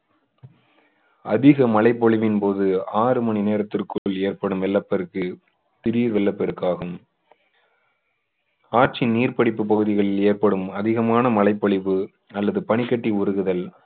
அதிக மழைப்பொழிவின் போது ஆறு மணி நேரத்திற்குள் ஏற்படும் வெள்ளப்பெருக்கு திடீர் வெள்ளப்பெருக்காகும் ஆற்றின் நீர்பிடிப்பு பகுதிகளில் ஏற்படும் அதிகமான மழைப்பொழிவு அல்லது பனிக்கட்டி உருகுதல்